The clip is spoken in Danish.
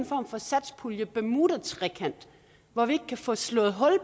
form for satspuljens bermudatrekant hvor vi ikke kan få slået hul